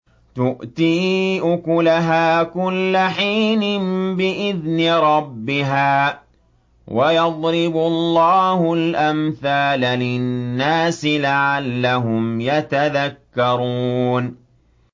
تُؤْتِي أُكُلَهَا كُلَّ حِينٍ بِإِذْنِ رَبِّهَا ۗ وَيَضْرِبُ اللَّهُ الْأَمْثَالَ لِلنَّاسِ لَعَلَّهُمْ يَتَذَكَّرُونَ